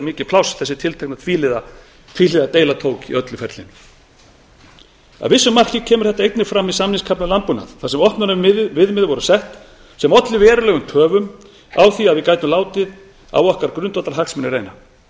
mikið pláss þessi tiltekna tvíhliða deila tók í öllu ferlinu að vissu marki kemur þetta einnig fram í samningskafla um landbúnað þar sem opnunarviðmið voru sett sem olli verulegum töfum á því að við gætum látið reyna á grundvallarhagsmuni okkar